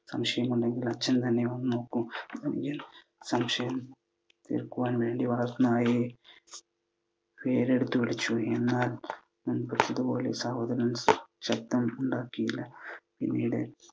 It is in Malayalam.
സംശയമുണ്ടെങ്കിൽ അച്ഛൻ തന്നെ വന്ന് നോക്കു. സംശയം തീർക്കുവാൻ വേണ്ടി വളർത്തു നായയെ പേരെടുത്തു വിളിച്ചു. എന്നാൽ പറഞ്ഞതു പോലെ സഹോദരൻ ശബ്ദമുണ്ടാക്കിയില്ല. പിന്നീട്